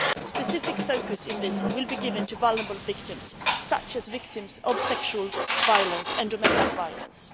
Specific focus in this will be given to vulnerable victims such as victims of sexual and domestic violence.